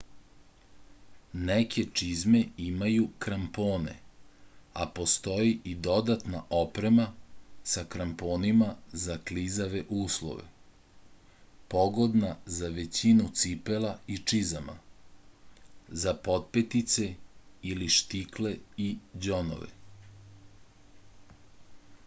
neke čizme imaju krampone a postoji i dodatna oprema sa kramponima za klizave uslove pogodna za većinu cipela i čizama za potpetice ili štikle i đonove